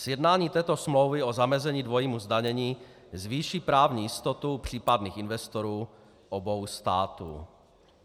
Sjednání této smlouvy o zamezení dvojímu zdanění zvýší právní jistotu případných investorů obou států.